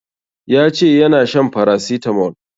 Ya ce yana shan paracetamol